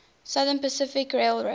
southern pacific railroad